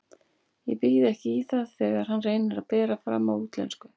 Ég býð ekki í það þegar hann reynir að bera fram á útlensku.